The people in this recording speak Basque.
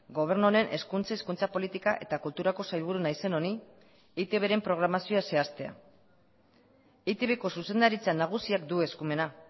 gobernu honen hezkuntza hizkuntza politika eta kulturako sailburu naizen honi eitbren programazioa zehaztea eitbko zuzendaritza nagusiak du eskumena